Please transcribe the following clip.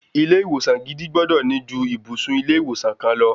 Ilé ìwòsan gidi gbọ́dọ̀ ní ju ibùsùn ilé ìwòsan kan lọ.